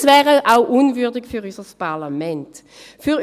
Es wäre auch für unser Parlament unwürdig.